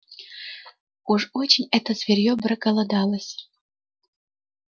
уж очень это зверьё проголодалось